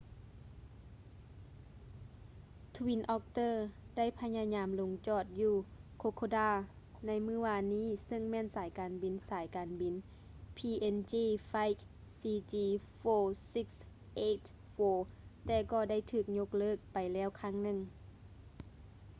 twin otter ໄດ້ພະຍາຍາມລົງຈອດຢູ່ kokoda ໃນມື້ວານນີ້ເຊິ່ງແມ່ນສາຍການບິນສາຍການບິນ png flight cg4684 ແຕ່ກໍໄດ້ຖືກຍົກເລີກໄປແລ້ວຄັ້ງໜຶ່ງ